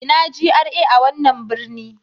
Ina GRA a wannan birni?